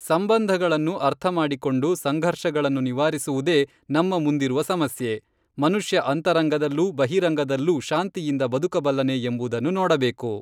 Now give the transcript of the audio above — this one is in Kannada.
ಸಂಬಂಧಗಳನ್ನು ಅರ್ಥಮಾಡಿಕೊಂಡು ಸಂಘರ್ಷಗಳನ್ನು ನಿವಾರಿಸುವುದೇ ನಮ್ಮ ಮುಂದಿರುವ ಸಮಸ್ಯೆ. ಮನುಷ್ಯ ಅಂತರಂಗದಲ್ಲೂ ಬಹಿರಂಗದಲ್ಲೂ ಶಾಂತಿಯಿಂದ ಬದುಕಬಲ್ಲನೆ ಎಂಬುದನ್ನು ನೋಡಬೇಕು.